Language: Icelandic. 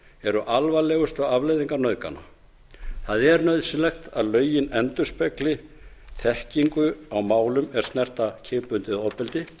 eru alvarlegustu afleiðingar nauðgana það er nauðsynlegt að lögin endurspegli þekkingu á málum er snerta kynbundið ofbeldi